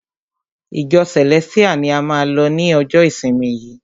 Ìjọ Celestial ni a máa lọ ni ọjọ ìsinmi yìí!